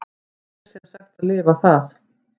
Ég er sem sagt að lifa það.